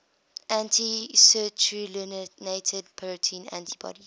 anti citrullinated protein antibodies